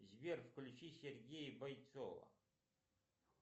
сбер включи сергея бойцова